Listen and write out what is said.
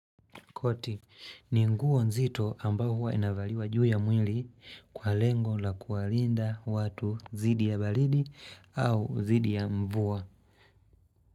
Koti, ni nguo nzito ambao huwa inavaliwa juu ya mwili kwa lengo la kuwalinda watu dhidi ya balidi au dhidi ya mvua.